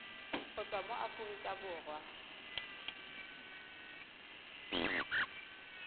go tswa mo aforika borwa